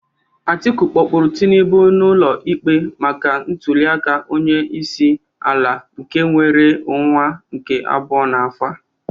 Atiku kpọpụrụ Tinubụ n'ụlọ ikpe maka ntuliaka onye isi ala nke enwere n'ọnwa nke abụo n'afọ a